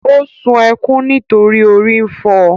Ó sun ẹkún nítorí orí ń fọ.